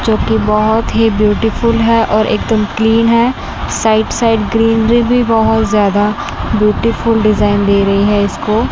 जो की बहोत ही ब्यूटीफुल हैं और एक दम क्लीन है साइड साइड ग्रीनरी भी बहोत ज्यादा ब्यूटीफुल डिजाइन दे रही है इसको।